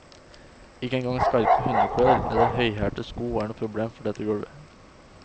Ikke engang skarpe hundeklør eller høyhælte sko er noe problem for dette gulvet.